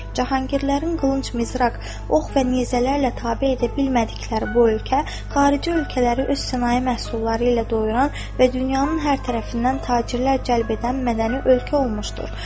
Cahangirlərin qılınc, mızraq, ox və nizələrlə tabe edə bilmədikləri bu ölkə xarici ölkələri öz sənaye məhsulları ilə doyuran və dünyanın hər tərəfindən tacirlər cəlb edən mədəni ölkə olmuşdur.